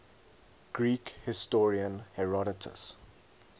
greek historian herodotus